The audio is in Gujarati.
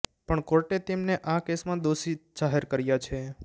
પણ કોર્ટે તેમને આ કેસમાં દોષી જાહેર કર્યા છે